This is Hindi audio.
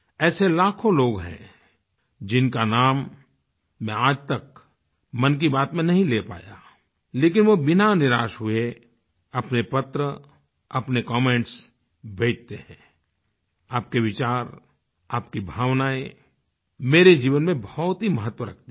ऐसे लाखों लोग हैं जिनका नाम मैं आज तक मन की बात में नहीं ले पाया लेकिन वो बिना निराश हुए अपने पत्र अपने कमेंट्स भेजते हैं आपके विचार आपकी भावनाएं मेरे जीवन में बहुत ही महत्व रखती हैं